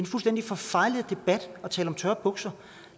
fuldstændig forfejlet debat at tale om tørre bukser